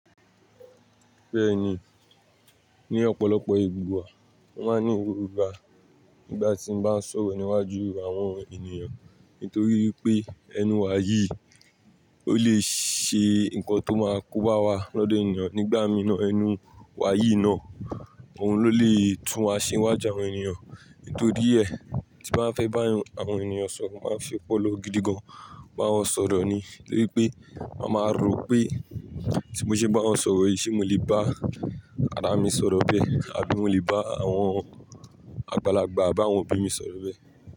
Bẹ́ẹ̀ni, ní ọ̀pọ̀lọpọ̀ ìgbà wà, wọ́n máa ń ní ìwúwo gba nígbà tí wọ́n bá ń sọ̀rọ̀ níwájú àwọn ènìyàn. Nítorí wí pé, ẹnu wá yií, ó lè ṣe nǹkan tó máa kó bá wá lọ́dọ̀ ènìyàn nígbà mìíràn ẹnu wá yìí náà, òun ló lè tún wa ṣe níwájú àwọn ènìyàn. Nítorí ẹ, tí mo bá fẹ́ bá àwọn ènìyàn sọ̀rọ̀ máa ṣe ọpọlọ gidi gan. Ba wọn sọ̀rọ̀ ni nítorí pé máa ma rò pé tí mo ṣe bá wọn sọ̀rọ̀ yìí ṣé mo lè bá àwọn ara mi sọ̀rọ̀ bẹ́ẹ̀ àbí mo lè bá àwọn àgbàlagbà àbí àwọn òbí mi sọ̀rọ̀ bẹ́ẹ̀